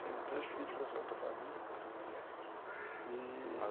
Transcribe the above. Tenho três filhos com essa outra família, ah, e...